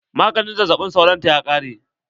Maganin zazzaɓin sauron ta ya ƙare.